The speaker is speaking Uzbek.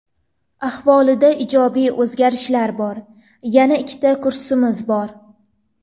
Ahvolida ijobiy o‘zgarishlar bor. Yana ikkita kursimiz bor.